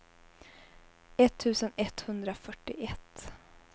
etttusen etthundrafyrtioett